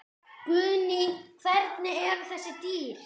Guðný: Hvernig eru þessi dýr?